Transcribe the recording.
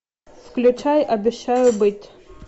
включай обещаю быть